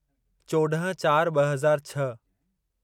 चोॾहं चार ॿ हज़ार छह